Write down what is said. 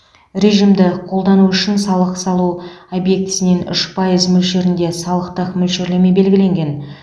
режимді қолдану үшін салық салу объектісінен үш пайыз мөлшерінде салықтық мөлшерлеме белгіленген